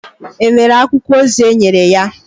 È nwere akwụkwọ ozi enyere ya?